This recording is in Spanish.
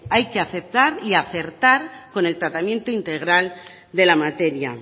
hay que aceptar y acertar con el tratamiento integral de la materia